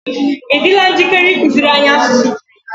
ị dịla njikere ịkụziri anyị asụsụ Grik?